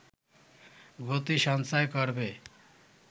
গতি সঞ্চার করবে